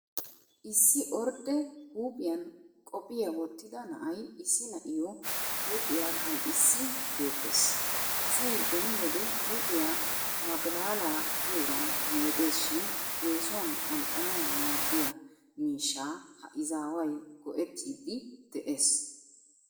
Issi ordde huuphiyan qophiya wottida na'ay issi na'aayyoo huuphiya qanxxiissi beettes. Asay beni wode huuphiya magilaalaa giyoogan meedes shin eesuwan qanxxanawu maaddiya miishshaa ha izaaway go'ettidi de'es.